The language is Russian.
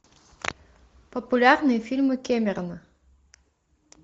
популярные фильмы кэмерона